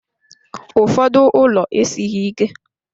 Ụfọdụ ụlọ esighị ike.